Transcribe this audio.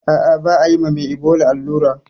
Ah ah ba ayi mame ibola allura